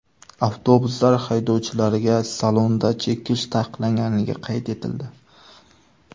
Avtobuslar haydovchilariga salonda chekish taqiqlanganligi qayd etildi.